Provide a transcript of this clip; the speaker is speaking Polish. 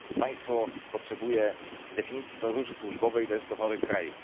Jeśli państwo potrzebuje definicji podróży służbowej, to jest chorym krajem.